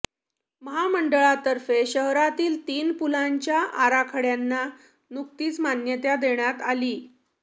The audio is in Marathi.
महामंडळातर्फे शहरातील तीन पुलांच्या आराखड्यांना नुकतीच मान्यता देण्यात आली